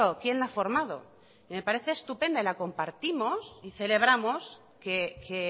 quién la ha formado y me parece estupenda y la compartimos y celebramos que